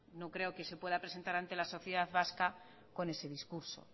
no creo que se pueda presentar ante la sociedad vasca con ese discurso